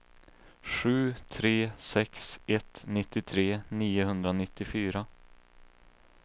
sju tre sex ett nittiotre niohundranittiofyra